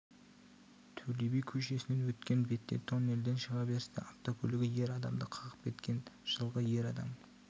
төле би көшесінен өткен бетте тоннельден шығаберісте автокөлігі ер адамды қағып кеткен жылғы ер адам